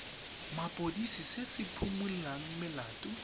mapodisi se se phimolang melato